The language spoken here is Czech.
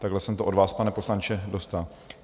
Tak jsem to od vás, pane poslanče, dostal.